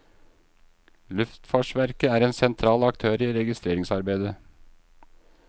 Luftfartsverket er en sentral aktør i registreringsarbeidet.